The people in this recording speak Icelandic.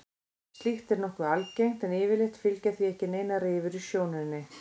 Slíkt er nokkuð algengt en yfirleitt fylgja því ekki neinar rifur í sjónunni.